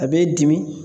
A b'i dimi